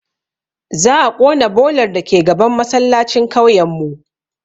Za a ƙona bolar dake gaban masallacin kauyen mu